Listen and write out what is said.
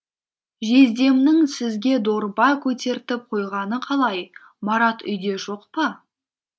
жездемнің сізге дорба көтертіп қойғаны қалай марат үйде жоқ па